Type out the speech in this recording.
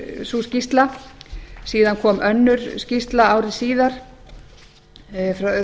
sú skýrsla síðan kom önnur skýrsla ári síðar það er